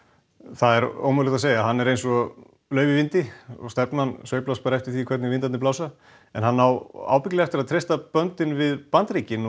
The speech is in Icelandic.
það er ómögulegt að segja að hann er eins og lauf í vindi stefnan sveiflast bara eftir því hvernig vindarnir blása en hann á ábyggilega eftir að treysta böndin við Bandaríkin